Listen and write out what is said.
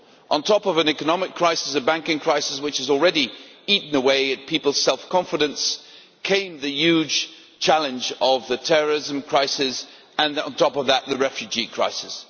On top of an economic crisis and a banking crisis, which had already eaten away at people's self-confidence, came the huge challenge of the terrorism crisis, and, on top of that, the refugee crisis.